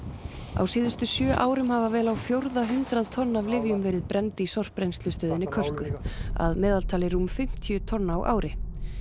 á síðustu sjö árum hafa vel á fjórða hundrað tonn af lyfjum verið brennd í sorpbrennslustöðinni Kölku að meðaltali rúm fimmtíu tonn á ári